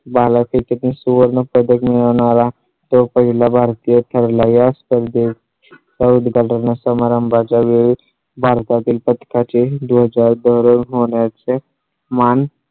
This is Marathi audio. भाला फेक सुवर्ण पदक मिळवणारा तो पहिला भारतीय ठरला. या स्पर्धे च्या उद्घाटन समारंभा च्यावेळी भारतातील पथका चे दोन हजार दोन होण्या चे मान.